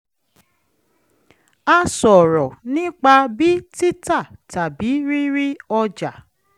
a sọ̀rọ̀ nípa bí títà tàbí rírí ọja